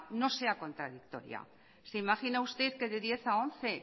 no sea contradictoria se imagina usted que de diez cero a once